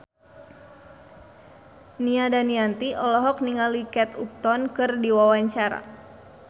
Nia Daniati olohok ningali Kate Upton keur diwawancara